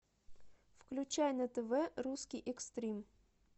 включай на тв русский экстрим